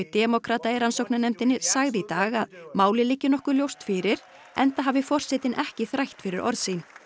demókrata í rannsóknarnefndinni sagði í dag að málið liggi nokkuð ljóst fyrir enda hafi forsetinn ekki þrætt fyrir orð sín